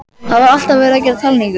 Það var alltaf verið að gera talningu.